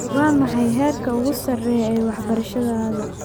Waa maxay heerka ugu sarreeya ee waxbarashadaada.